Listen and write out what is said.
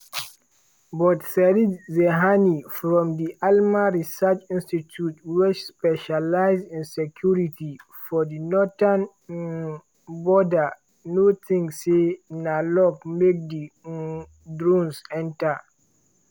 but sarit zehani from di alma research institute wey specialise in security for di northern um border no tink say na luck make di um drones enta.